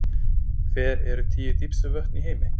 Hver eru tíu dýpstu vötn í heimi?